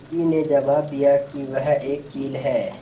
मुर्गी ने जबाब दिया वह एक चील है